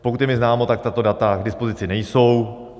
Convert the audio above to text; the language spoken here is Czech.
Pokud je mi známo, tak tato data k dispozici nejsou.